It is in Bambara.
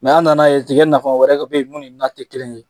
an nan'a ye tigɛ nafa wɛrɛ k be ye mun ni na te kelen ye.